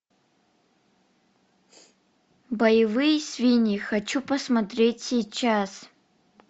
боевые свиньи хочу посмотреть сейчас